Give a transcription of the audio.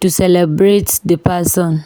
to celebrate the person.